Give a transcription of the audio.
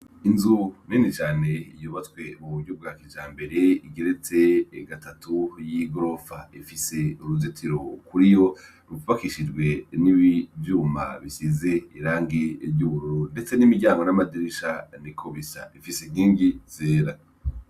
Inzu nini cane yubatswe mu buryo bwa kijambere, igeretse gatatu y'igorofa. Ifise uruzitiro kuriyo rw'ubakishijwe n'ivyuma bisize irangi ry'ubururu, ndetse n'imiryango n'amadirisha niko bisa, ifise inkingi zera.